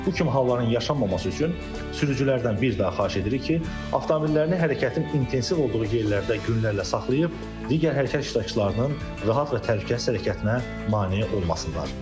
Bu kimi halların yaşanmaması üçün sürücülərdən bir daha xahiş edirik ki, avtomobillərini hərəkətin intensiv olduğu yerlərdə günlərlə saxlayıb digər hərəkət iştirakçılarının rahat və təhlükəsiz hərəkətinə mane olmasınlar.